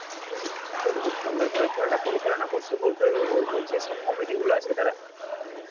তাহলে তো খুব সুন্দর ভাবে খেলাটা পরিচালনা করছে বলতে হবে ও~ ওই যেসব committee গুলো আছে তারা.